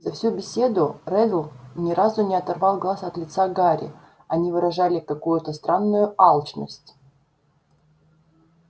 за всю беседу реддл ни разу не оторвал глаз от лица гарри они выражали какую-то странную алчность